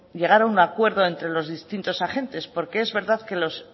llegar a un acuerdo entre los distintos agentes porque es verdad que los